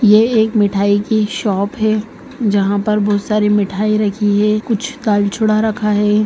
यह एक मिठाई की शॉप है जहाँ पर बहुत सारी मिठाई रखी है कुछ दालचूड़ा रखा है।